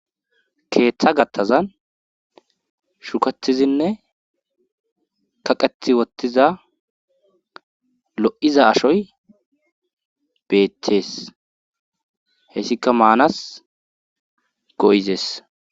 Keeththa gattazan shukatizinne kaqeti wottiza lo'iza ashoy beeththees hessika maanas go'izees.